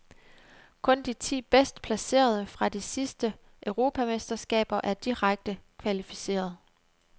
Kun de ti bedst placerede fra de sidste europamesterskaber er direkte kvalificeret.